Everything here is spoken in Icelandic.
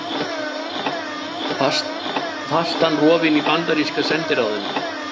Fastan rofin í bandaríska sendiráðinu